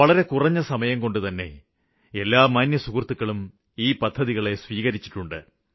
വളരെ കുറഞ്ഞ സമയംകൊണ്ടുതന്നെ എല്ലാ മാന്യസുഹൃത്തുക്കളും ഈ പദ്ധതികളെ സ്വീകരിച്ചിട്ടുണ്ട്